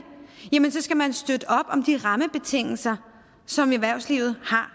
jamen så skal man støtte op om de rammebetingelser som erhvervslivet har